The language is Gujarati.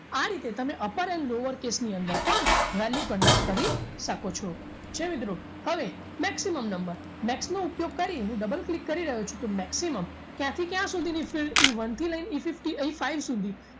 આ રીતે તમે upper and lower case ની અંદર પણ value convert કરી શકો છો ઠીક છે મિત્રો હવે maximum number max નો ઉપયોગ કરી હું double click કરી રહ્યો છું તો maximum ક્યાંથી ક્યાં સુધીની Eone થી લઈ Efifty five સુધી